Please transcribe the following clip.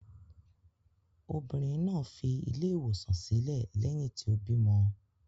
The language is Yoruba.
Obìnrin náà fi ilé-ìwòsàn sílẹ̀ lẹ́yìn tí ó bímọ.